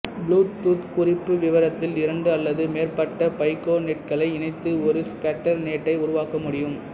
Bluetooth குறிப்புவிவரத்தில் இரண்டு அல்லது மேற்பட்ட பைக்கோநெட்களை இணைத்து ஒரு ஸ்கேட்டர்நெட்டை உருவாக்க முடியும்